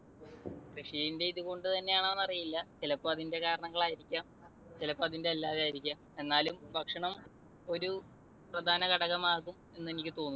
കൃഷിന്റെ ഇത് കൊണ്ട് തന്നെയാണോ എന്നറിയില്ല. ചിലപ്പോൾ അതിന്റെ കാരണങ്ങളായിരിക്കാം. ചിലപ്പോൾ അതിന്റെ അല്ലാതായിരിക്കാം. എന്നാലും ഭക്ഷണം ഒരു പ്രധാനഘടകം ആകും എന്ന് എനിക്ക് തോന്നുന്നു.